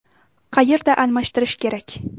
Qayerda almashtirish kerak?